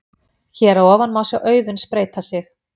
Hér að ofan má sjá Auðunn spreyta sig.